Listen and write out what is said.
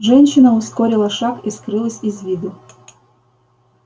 женщина ускорила шаг и скрылась из виду